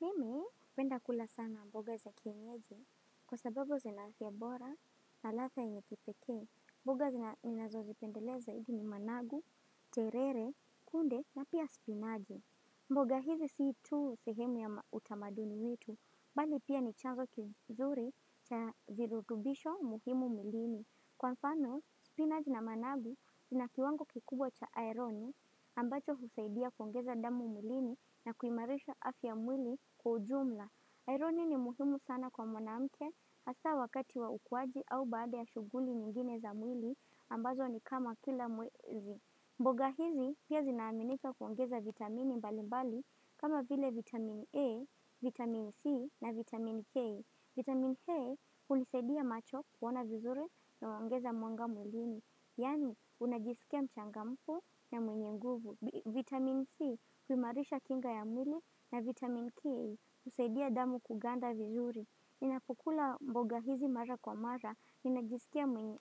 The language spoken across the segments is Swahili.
Mimi, hupenda kula sana mboga za kienyeji, kwa sababu zina afya bora, na ladha yenye kipekee, mboga ninazozipendelea zaidi ni managu, terere, kunde na pia spinaji. Mboga hizi si tu sehemu ya utamaduni wetu, bali pia ni chanzo kizuri cha virutubisho muhimu mwilini. Kwa mfano, spinaj na managu zina kiwango kikubwa cha ironi ambacho husaidia kuongeza damu mwilini na kuimarisha afya ya mwili kwa ujumla. Ironi ni muhimu sana kwa mwanamke hasa wakati wa ukuaji au baada ya shughuli nyingine za mwili ambazo ni kama kila mwezi. Mboga hizi pia zinaaminika kuongeza vitamini mbali mbali kama vile vitamini A, vitamini C na vitamini K. Vitamin H hunisadia macho kuona vizuri na huongeza mwanga mwilini. Yani unajisikia mchangamfu na mwenye nguvu. Vitamin C kuimarisha kinga ya mwili na vitamin K husaidia damu kuganda vizuri. Ninapukula mboga hizi mara kwa mara. Ninajisikia ni mwenye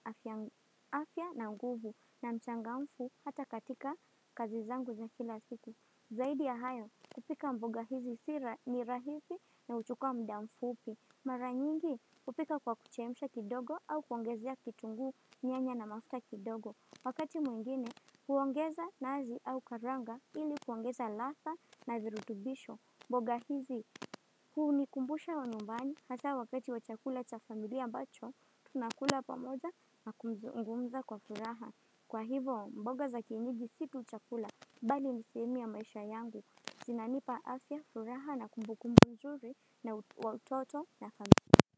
afya, na nguvu na mchangamfu hata katika kazi zangu za kila siku. Zaidi ya hayo kupika mboga hizi sira ni rahisi na huchukua muda mfupi. Mara nyingi hupika kwa kuchemsha kidogo au kuongezea kitunguu, nyanya na mafuta kidogo. Wakati mwengine huongeza nazi au karanga ili kuongeza ladha na virutubisho. Mboga hizi hunikumbusha wa nyumbani hasa wakati wa chakula cha familia ambacho tunakula pamoja na kumzungumza kwa furaha. Kwa hivo mboga za kienyeji si tu chakula bali ni sehemu ya maisha yangu. Zinanipa afya, furaha na kumbukumbu nzuri wa utoto na familia.